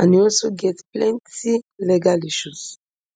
and e also get plenty legal issues